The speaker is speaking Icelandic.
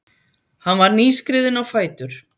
Hann var nýskriðinn á fætur.